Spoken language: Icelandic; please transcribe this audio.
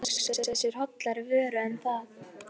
Er hægt að hugsa sér hollari vöru en það?